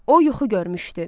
O yuxu görmüşdü.